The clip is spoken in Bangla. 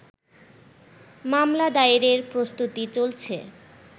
মামলা দায়েরের প্রস্তুতি চলছে